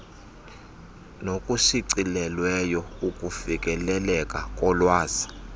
nokushicilelweyo ukufikeleleka kolwazi